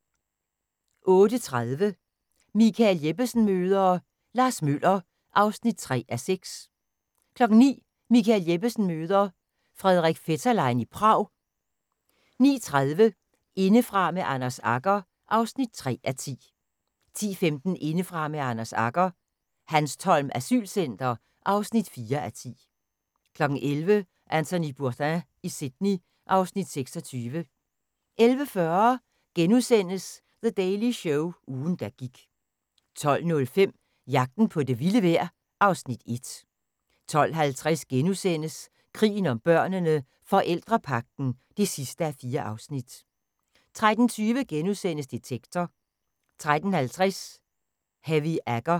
08:30: Michael Jeppesen møder ... Lars Møller (3:6) 09:00: Michael Jeppesen møde ... Frederik Fetterlein i Prag 09:30: Indefra med Anders Agger (3:10) 10:15: Indefra med Anders Agger - Hanstholm asylcenter (4:10) 11:00: Anthony Bourdain i Sydney (Afs. 26) 11:40: The Daily Show – ugen der gik * 12:05: Jagten på det vilde vejr (Afs. 1) 12:50: Krigen om børnene: Forældrepagten (4:4)* 13:20: Detektor * 13:50: Heavy Agger